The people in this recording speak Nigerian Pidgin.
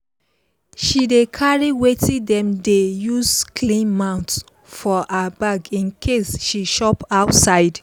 she dey carry wetin dem dey use clean teeth for her bag in case she chop outside